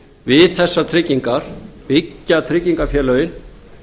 við þessar tryggingar byggja tryggingafélögin